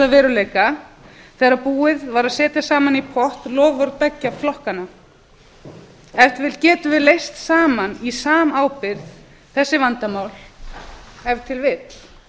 veruleika þegar búið var að setja saman í pott loforð beggja flokkanna ef til vill getum við leyst saman í samábyrgð þessi vandamál ef til